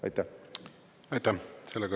Aitäh!